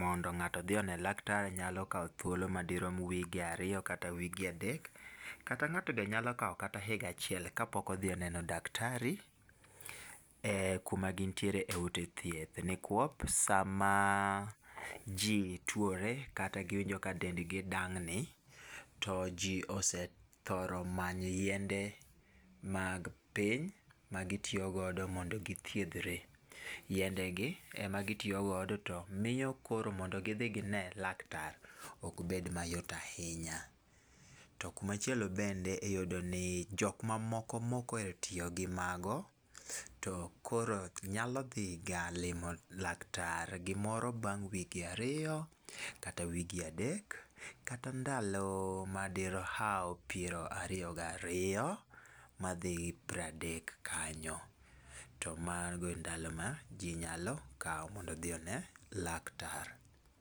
mondo ng'ato odhi one laktar nyalo kawo thuolo madirom wige ariyo kata wige adek kata ng'ato nyalo kawo thuolo mar higa achiel kapok odhi oneno daktari e kuma gintiere e ute thieth nikwop sama ji tuore kata giwinjo ka dendgi dang' ni to ji ose thoro manyo yiende mag piny ma gitiyo godo mondo githiedhre. Yiendegi ema gitiyo godo to miyo koro mondo gidhi gine laktar laktar ok bed mayot ahinya. To kuma chielo bende iyudo ni jok ma moko maok ohero tiyo gi mago to koro nyalo dhiga limo laktar gi moro bang' wige ariyo kata wige adek kata ndalo madihaw piero ariyo ga riyo madhi gi piero adek kanyo, to mago endalo ma ji nyalo kawo mondo odhi one laktar.